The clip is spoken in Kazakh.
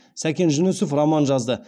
сәкен жүнісов роман жазды